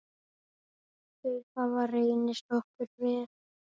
Þau hafa reynst okkur vel.